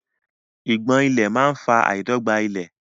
Ìgbọ̀n ìlẹ̀ máa fa àìdọ́gba ilẹ̀.